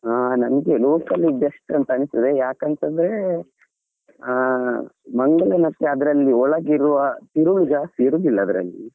ಆ ನಂಗೆ local ಲೆ best ಅಂತಾ ಅನಿಸ್ತತದೆ ಯಾಕಂತಂದ್ರೆ ಹಾ ಮಂಗಳಾ ಮತ್ತದ್ರಲ್ಲಿ ಒಳಗೆ ಇರುವಾ ತಿರುಳು ಜಾಸ್ತಿ ಇರುದಿಲ್ಲಾ ಅದ್ರಲ್ಲಿ.